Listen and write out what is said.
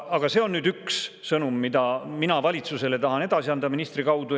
Aga see on üks sõnum, mida mina valitsusele tahan edasi anda ministri kaudu.